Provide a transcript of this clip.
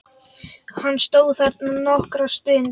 Hann stóð þarna nokkra stund.